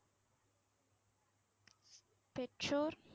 பெற்றோர்?